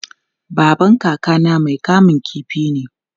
Babban kakana mai kamun kifi ne.